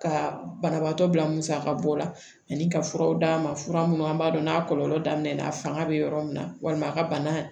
Ka banabaatɔ bila musaka bɔ la ani ka furaw d'a ma fura minnu an b'a dɔn n'a kɔlɔlɔ daminɛ na a fanga bɛ yɔrɔ min na walima a ka bana